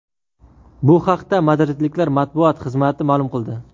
Bu haqda madridliklar matbuot xizmati ma’lum qildi .